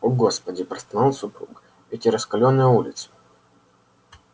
о господи простонал супруг эти раскалённые улицы